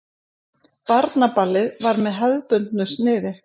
Barnaballið var með hefðbundnu sniði.